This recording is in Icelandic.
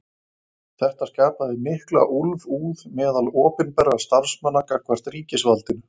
Þetta skapaði mikla úlfúð meðal opinberra starfsmanna gagnvart ríkisvaldinu.